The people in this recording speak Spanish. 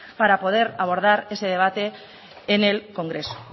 para poder abordar ese debate en el congreso